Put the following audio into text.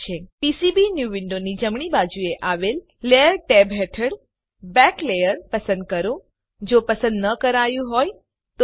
PCB new વિન્ડોની જમણી બાજુએ આવેલ લેયર ટેબ હેઠળ બેક લેયર પસંદ કરો જો પસંદ ન કરાયું હોય તો